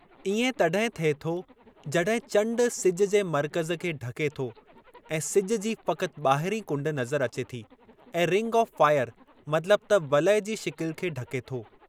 इएं तॾहिं थिए थो जॾहिं चंड सिज जे मर्कज़ खे ढके थो ऐं सिजु जी फ़क़ति ॿाहिरीं कुंड नज़रु अचे थी ऐं रिंग ऑफ़ फ़ाइर मतिलबु त वलय जी शिकिलि खे ढके थो।